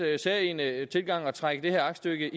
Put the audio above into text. særegne tilgang at trække det her aktstykke